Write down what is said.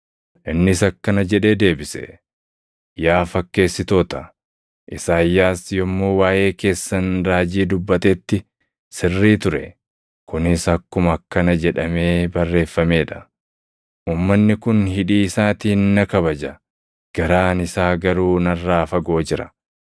Innis akkana jedhee deebise; “Yaa fakkeessitoota, Isaayyaas yommuu waaʼee keessan raajii dubbatetti sirrii ture; kunis akkuma akkana jedhamee barreeffamee dha: “ ‘Uumanni kun hidhii isaatiin na kabaja; garaan isaa garuu narraa fagoo jira.